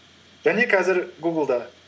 және қазір гуглда